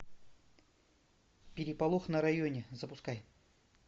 переполох на районе запускай